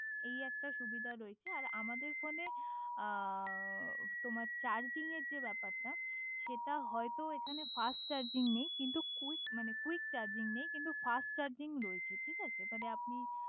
এই একটা সুবিধা রয়েছে আমাদের ফোনে তোমার চার্জিংয়ের যে ব্যাপারটা সেটা হয়ে তো এখানে ফাস্ট চার্জিং নেই কিন্তু কুইক মানে কুইক চার্জিগ নেই কিন্তু ফাস্ট চার্জিং রয়েছে